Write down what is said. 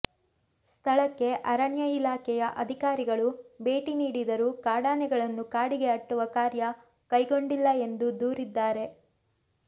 ಸ್ಥಳಕ್ಕೆ ಅರಣ್ಯ ಇಲಾಖೆಯ ಅಧಿಕಾರಿಗಳು ಭೇಟಿ ನೀಡಿದರೂ ಕಾಡಾನೆಗಳನ್ನು ಕಾಡಿಗೆ ಅಟ್ಟುವ ಕಾರ್ಯ ಕೈಗೊಂಡಿಲ್ಲ ಎಂದು ದೂರಿದ್ದಾರೆ